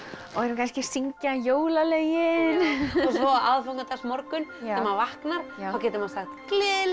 kannski syngja jólalögin og á aðfangadagsmorgun þegar maður vaknar þá getur maður sagt gleðileg